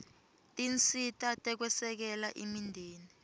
tinsita tekwesekela imindeni